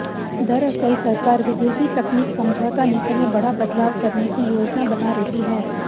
दरअसल सरकार विदेशी तकनीक समझौता नीति में बड़ा बदलाव करने की योजना बना रही है